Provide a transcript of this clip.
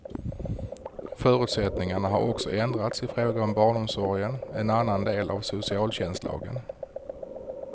Förutsättningarna har också ändrats i fråga om barnomsorgen, en annan del av socialtjänstlagen.